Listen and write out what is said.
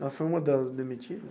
Ela foi uma das demitidas?